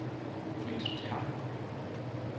Frits Terp